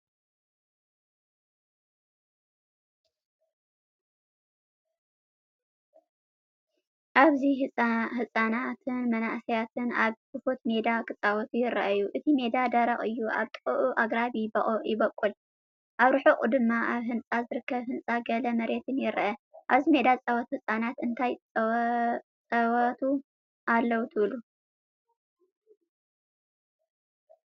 ኣብዚ ህጻናትን መንእሰያትን ኣብ ክፉት ሜዳ ክጻወቱ ይረኣዩ። እቲ መሬት ደረቕ እዩ፣ ኣብ ጥቓኡ ኣግራብ ይበቁል። ኣብ ርሑቕ ድማ ኣብ ህንጸት ዝርከብ ህንጻን ገለ መሬትን ይርአ። ኣብዚ ሜዳ ዝጻወቱ ህጻናት እንታይ ጻወቱ ኣለዉ ትብሉ?